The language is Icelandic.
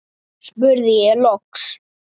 spurði ég loks.